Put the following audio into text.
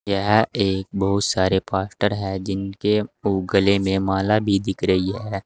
यह एक बहुत सारे पास्टर है जिनके मुंह गले में माला भी दिख रही है।